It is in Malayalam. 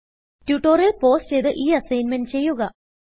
ട്യൂട്ടോറിയൽ പൌസ് ചെയ്ത് ഈ അസ്സിഗ്ന്മെന്റ് ചെയ്യുക